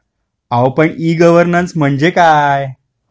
अहो e -governance म्हणजे काय ?